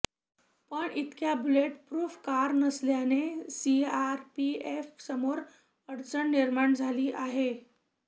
पण इतक्या bullet proof car नसल्याने सीआरपीएफसमोर अडचण निर्माण झाली आहे